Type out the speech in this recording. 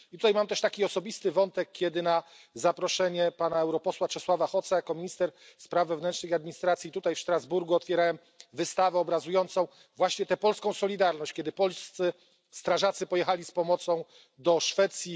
I tutaj mam też taki osobisty wątek, kiedy na zaproszenie pana europosła Czesława Hoca jako minister spraw wewnętrznych i administracji tutaj w Strasburgu otwierałem wystawę obrazującą właśnie tę polską solidarność, kiedy polscy strażacy pojechali z pomocą do Szwecji.